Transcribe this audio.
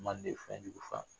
Manden fɛnjugu fa.